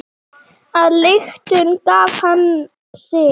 Að lyktum gaf hann sig.